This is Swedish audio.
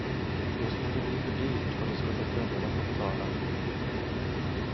Då skulle det bli för dyrt och det skulle kunderna få betala.